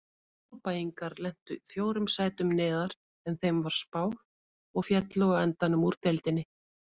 Árbæingar lentu fjórum sætum neðar en þeim var spáð og féllu á endanum úr deildinni.